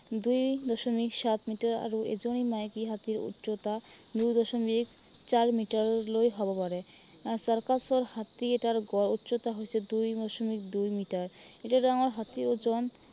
দুই দশমিক সাত মিটাৰ আৰু এজনী মাইকী হাতীৰ উচ্চতা দুই দশমিক চাৰি মিটাৰলৈ হব পাৰে। আহ চাৰ্কাছৰ হাতী এটাৰ গড় উচ্চতা হৈছে দুই দশমিক দুই মিটাৰ। এটা ডাঙৰ হাতীৰ ওজন